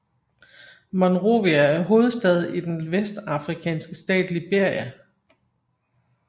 Monrovia er hovedstad i den vestafrikanske stat Liberia